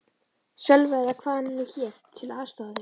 Sölva eða hvað hann nú hét, til að aðstoða þig.